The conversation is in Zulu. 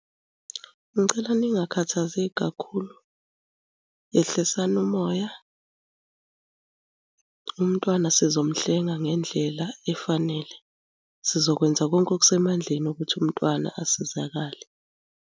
Ngicela ningakhathazeki kakhulu. Yehlisani umoya, umntwana sizomuhlenga ngendlela efanele. Sizokwenza konke okusemandleni ukuthi umntwana asizakale.